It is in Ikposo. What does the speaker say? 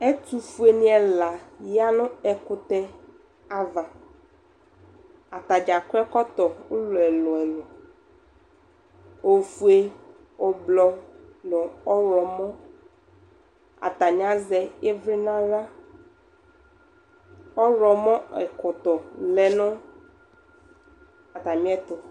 Ɛtʋ fuenɩ ɛla ya nʋ ɛkʋtɛ ava, atadza akɔ ɛkɔtɔ ʋlɔ ɛlʋ-ɛlʋ, ofue, ʋblɔ nʋ ɔɣlɔmɔ Atanɩ azɛ ɩvlɩ nʋ aɣla, ɔɣlɔmɔ ɛkɔtɔ lɛ nʋ atamɩ ɛtʋ